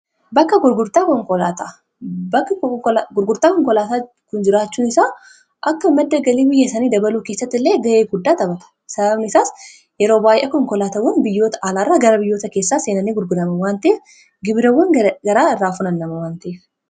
Bakka gurgurtaa konkolaataa kun jiraachuun isaa akka madda galii biyyasanii dabaluu keessatti illee ga'ee guddaa taphata .Sababni isaas yeroo baay'ee konkolaatawwan biyyoota alaarraa gara biyyoota keessaa seenani gurgurama. Waan ta'eef gibirawwan garaagaraa irraa funaanama waan ta'eef.